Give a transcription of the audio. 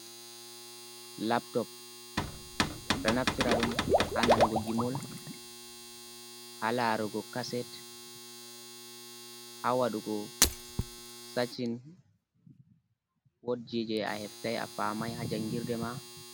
Laptop ɗo naftira dum ha nanugo gimol, ha larugo kaset, ha wadugo sacin ,wodi je a heftai a famai ha jangirde ma.